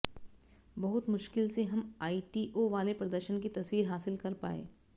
बहुत मुश्किल से हम आईटीओ वाले प्रदर्शन की तस्वीर हासिल कर पाए